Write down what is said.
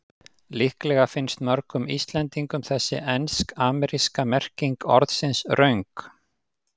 Líklega finnst mörgum Íslendingum þessi ensk-ameríska merking orðsins röng.